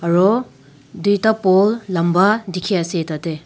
aro duita pole lamba dikhiase tatey.